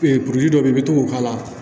dɔ bɛ i bɛ to k'o k'a la